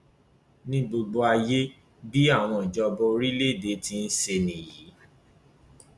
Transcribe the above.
ní gbogbo ayé bí àwọn ìjọba orílẹèdè ti ń ṣe nìyí